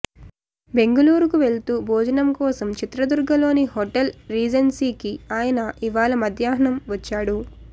బెంగుళూరుకు వెళ్తూ భోజనం కోసం చిత్రదుర్గలోని హోటల్ రీజెన్సీకి ఆయన ఇవాళ మధ్యాహ్నం వచ్చాడు